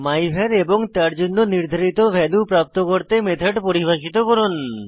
মাইভার এবং তার জন্য নির্ধারিত ভ্যালু প্রাপ্ত করতে মেথড পরিভাষিত করুন